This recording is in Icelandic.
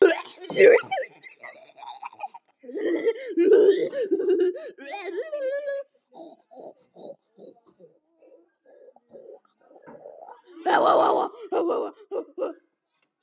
Þú hefur ekkert breyst.